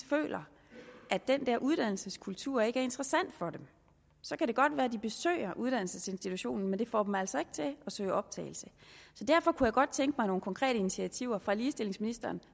føler at den der uddannelseskultur ikke er interessant for dem så kan det godt være at de besøger uddannelsesinstitutionen men det får dem altså ikke til at søge optagelse derfor kunne jeg godt tænke mig nogle konkrete initiativer fra ligestillingsministeren